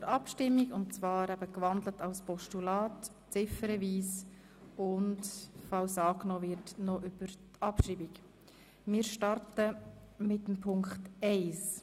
Somit stimmen wir ziffernweise über den in ein Postulat gewandelten Vorstoss ab sowie über die Abschreibung im Fall einer Annahme.